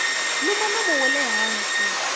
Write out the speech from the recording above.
luma nomo wa le hansi